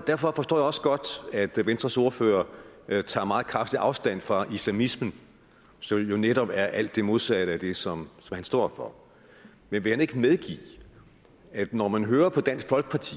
derfor forstår jeg også godt at venstres ordfører tager meget kraftigt afstand fra islamismen som jo netop er alt det modsatte af det som han står for men vil han ikke medgive at når man hører på dansk folkeparti